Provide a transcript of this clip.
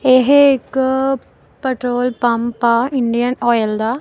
ਇਹ ਇੱਕ petrol pump ਆ ਇੰਡੀਅਨ ਆਇਲ ਦਾ।